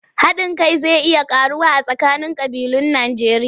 Haɗin kai zai iya ƙaruwa a tsakanin ƙabilun Najjeriya.